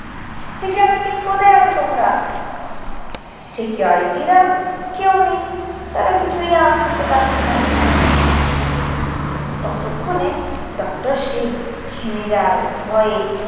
security কোথায় আছ তোমরা? security রা কেউ নেই। তারা কিছুই আওয়াজ শুনতে পাচ্ছে না। ততক্ষনে ডক্টর শিব ঘেমে যায় ভয়ে।